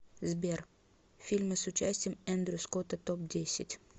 сбер фильмы с участием эндрю скотта топ десять